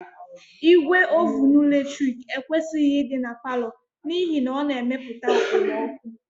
Igwe ovunu latrik ekwesịghị ịdị na palọ n'ihi na ọ na-emepụta okpomọkụ